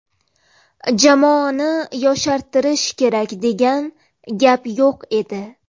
Jamoani yoshartirish kerak degan gap yo‘q edi.